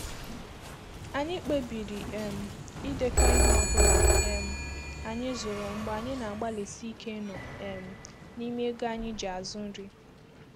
Anyị kpebiri um ịdekọ ihe ọ bụla um anyị zụrụ mgbe anyị na-agbalịsi ike ịnọ um n’ime ego anyị ji azụ nri.